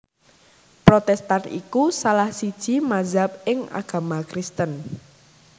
Protèstan iku salah siji mazhab ing agama Kristen